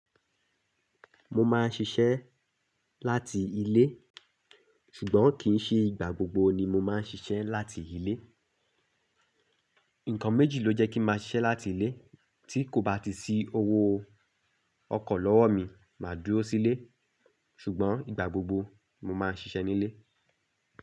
Mo máa ń ṣiṣẹ́ láti ilé, ṣùgbọ́n kì í ṣe ìgbà gbogbo ni mo máa ń ṣiṣẹ́ láti ilé. Ǹkan méjì ló jẹ́ kí n máa ṣiṣẹ́ láti ilé, tí kò bá ti sí owó ọkọ̀ lọ́wọ́ mi, màá dúró sílé, ṣùgbọ́n ìgbà gbogbo mo máa ń ṣiṣẹ́ nílé.